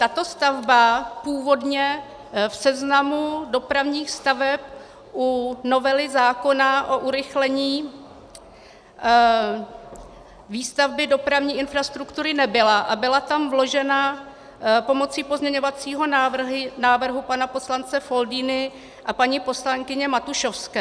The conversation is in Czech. Tato stavba původně v seznamu dopravních staveb u novely zákona o urychlení výstavby dopravní infrastruktury nebyla a byla tam vložena pomocí pozměňovacího návrhu pana poslance Foldyny a paní poslankyně Matušovské.